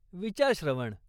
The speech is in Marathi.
विचार, श्रवण.